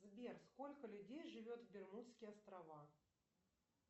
сбер сколько людей живет в бермудские острова